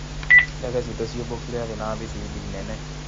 Ndege citũ cĩmbũkĩire thĩ no na thibindi nene".